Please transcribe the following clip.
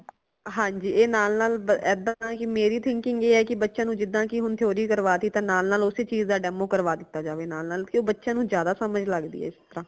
ਹਾਂਜੀ ਏ ਨਾਲ ਨਾਲ ਏਦਾਂ ਨਾ ਕਿ ਮੇਰੀ thinking ਏ ਹੈ ਕਿ ਬੱਚਿਆਂ ਨੂ ਜਿਦਾ ਕਿ ਹੁਣ theory ਕਰਵਾਤੀ ਤੇ ਨਾਲ ਨਾਲ ਓਸੀ ਚੀਜ਼ ਦਾ demo ਕਰਵਾ ਦਿਤਾ ਜਾਵੇ ਨਾਲ ਨਾਲ ਕਯੋ ਬੱਚਿਆਂ ਨੂੰ ਜ਼ਿਆਦਾ ਸਮਝ ਲਗਦੀ ਹੈ ਇਸਤਰਾਂ